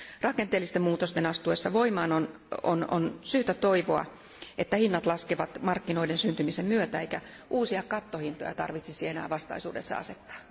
Rakenteellisten muutosten astuessa voimaan on syytä toivoa, että hinnat laskevat markkinoiden syntymisen myötä eikä uusia kattohintoja tarvitsisi enää vastaisuudessa asettaa.